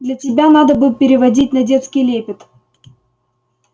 для тебя надо бы переводить на детский лепет